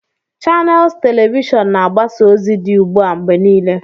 Chanels telivishọn na-agbasa ozi dị ugbu a mgbe niile.